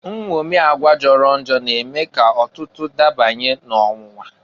Nnwomi agwa jọrọ njọ na-eme k'ọtụtụ dabanye n'ọnwụnwa.